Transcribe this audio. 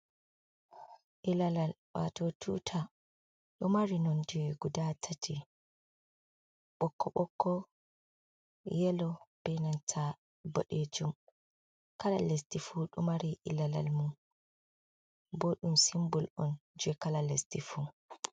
Ilalal, wato tuta. Ɗo mari non je guda tati, ɓokko ɓokko, yelo, benanta boɗejum. Kalal lesdi fu ɗo mari ilalal mum bo dum simbol on je kala lesdi fu.